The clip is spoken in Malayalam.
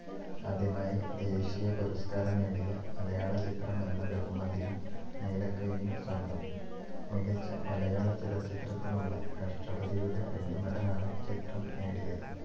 ആദ്യമായി ദേശീയപുരസ്ക്കാരം നേടിയ മലയാളചിത്രമെന്ന ബഹുമതിയും നീലക്കുയിലിനു സ്വന്തം. മികച്ച മലയാളചലച്ചിത്രത്തിനുള്ള രാഷ്ട്രപതിയുടെ വെള്ളിമെഡലാണ് ചിത്രം നേടിയത്.